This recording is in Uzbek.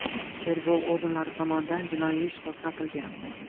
Tergov organlari tomonidan jinoiy ish qo‘zg‘atilgan.